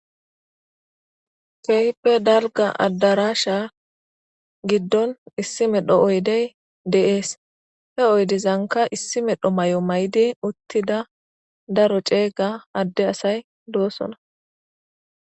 Kehippe daliga adarashsha giddoni issi medhdho oyideyi deesi he oyidezanikka issi medhdho mayo mayidi utida daro cega ade asayi deosoona